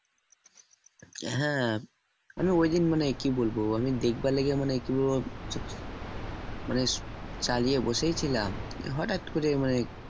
হ্যাঁ আমি ঐদিন মানে কি বলবো আমি দেখবার লেগে মানে কি বলবো মানে চালিয়ে বসেই ছিলাম নিয়ে হঠাৎ করে মানে